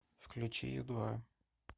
включи ю два